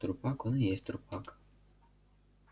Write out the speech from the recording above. трупак он и есть трупак